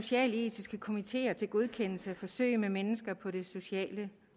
socialetiske komiteer til godkendelse af forsøg med mennesker på det sociale